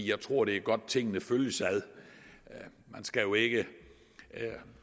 jeg tror det er godt tingene følges ad man skal jo ikke